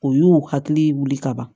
O y'u hakili wuli ka ban